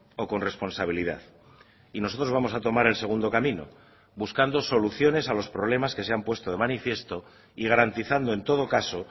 o con responsabilidad y nosotros vamos a tomar el segundo camino buscando soluciones a los problemas que se han puesto de manifiesto y garantizando en todo caso